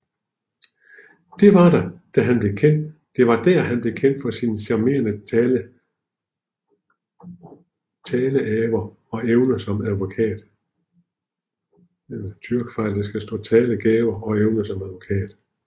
Det var der at han blev kendt for sin charmerende taleaver og evner som advokat